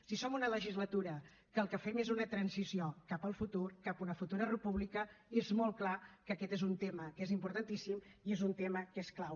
si som una legislatura que el que fem és una transició cap al futur cap a una futura república és molt clar que aquest és un tema que és importantíssim i és un tema que és clau